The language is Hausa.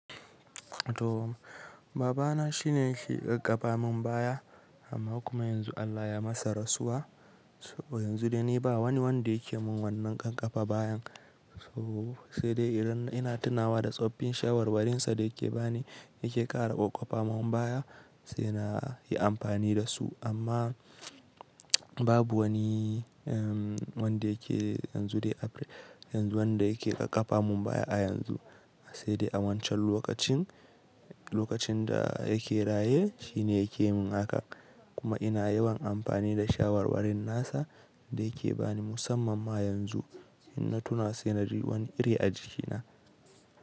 To baba na shine yake ƙaƙapa min baya amma kuma yanzu Allah ya masa rasuwa. So yanzu dai ni ba wani wanda yake mun wannan ƙanƙafa bayan. So sai dai idan ina tunawa da tsoffin shawarwarinsa da yake bani, yake ƙara Ƙoƙapa mun baya sai na yi amfani da su. Amma babu wani, wanda yake yanzu dai, yanzu wanda yake ƙaƙapa mun baya a yanzu. Sai dai a wancan lokacin, lokacin da yake raye shine yake mun haka. Kuma ina yawan amfani da shawarwarin nasa da yake bani musamman ma yanzu ina tuna sai na ji wani iri a jikina.